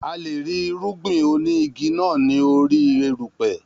A leè rí irúgbìn oní igi náà ní orí erùpè